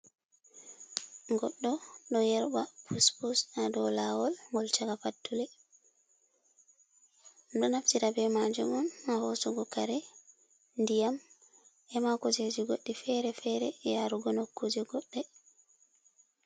Goɗɗo ɗo yerɓa puspus ha dau lawol ngol chaka pattule. Ɗo naftire be majum ha hosugo kare, ndiyam, e ma kujeji goɗɗi fere fere, yarugo nokkuje goɗɗi.